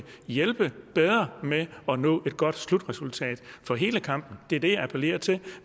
hjælpe med at nå et godt slutresultat for hele kampen det er det jeg appellerer til